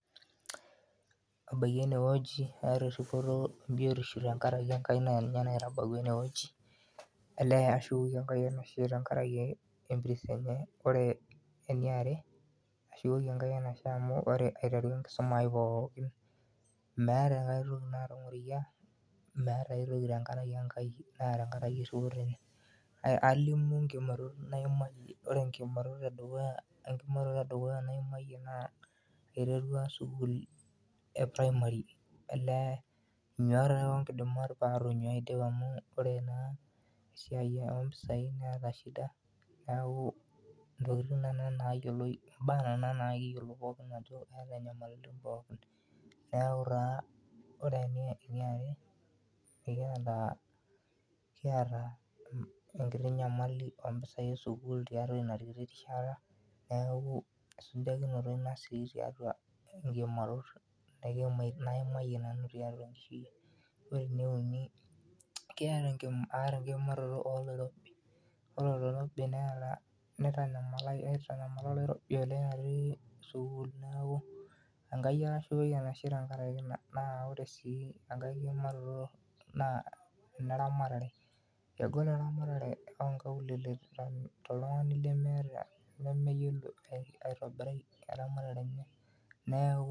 Ebaiki ene wueji aaata eripoto e biotisho tenkaraki Enki naa ninye naitabawua ene wueji, olee ashukoki Enkai enashe tenkaraki empiris, ore eniare ashukoki Enkai enashe amu ore aiteru enkisuma ai pookin meeta ae toki naatangorikia, meeta aitoki naa tenkaraki Enkai naa tenkaraki erripoto enye. Alimu nkiimarot naimayie, ore enkiimaroto e dukuya naimayie naa aiteru te primary olee nyuat ake onkidimat olee pee atonyuaa aidip aata shida neeku taa ore eniare, ekiata enkiti nyamali oo mpisai e sukuul tiatua ina kiti rishata neeku nabo sii ina tiatua nkiimarot naimayienanu tiatua enkishui ai . Ore ene uni. aata enkimaaroto oloirobi ,ore oloirobi naitanyamala akeyie te sukuul neeku Enkai ake ashukoki enashe tenkaraki ina naa ore sii enkae kiimaroto naa ene ramatare, kegol ena ramatare oo nkaulele toltungani lemeeta toltungani lemeyiolo aitobirai eramatare enye neeku.